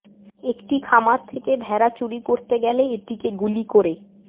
একটি খামার থেকে ভেড়া চুরি করতে গেলে এটিকে গুলি করে